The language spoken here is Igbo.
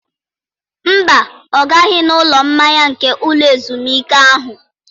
Mba, ọ gaghị n'ụlọ mmanya nke ụlọ ezumike ahụ.